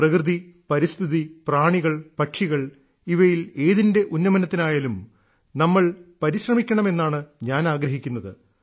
പ്രകൃതി പരിസ്ഥിതി പ്രാണികൾ പക്ഷികൾ ഇവയിൽ ഏതിന്റെ ഉന്നമനത്തിനായാലും നമ്മൾ പരിശ്രമിക്കണമെന്നാണ് ഞാൻ ആഗ്രഹിക്കുന്നത്